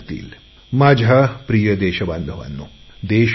माझ्या प्रिय देशबांधवांनो देश मोठा आहे